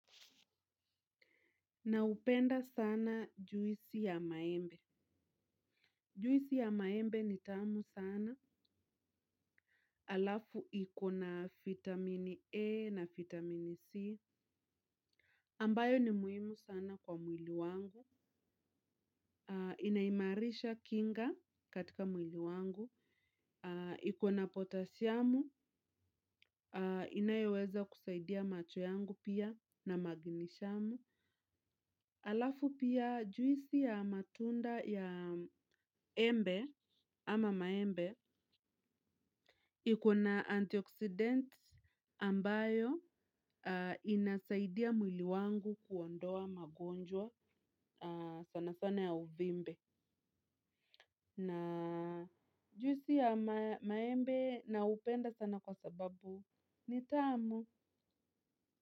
Naupenda sana juisi ya maembe. Juisi ya maembe ni tamu sana. Alafu ikona fitamini E na fitamini C. Ambayo ni muhimu sana kwa mwili wangu. Inaimarisha kinga katika mwili wangu. Iko na potashiamu. Inayoweza kusaidia macho yangu pia na maginishamu. Alafu pia juisi ya matunda ya embe ama maembe. Ikona antioksidenti ambayo inasaidia mwili wangu kuondoa magonjwa sana sana ya uvimbe na juisi ya maembe naupenda sana kwa sababu ni tamu.